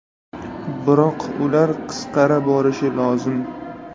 Biroq ular qisqara borishi lozim.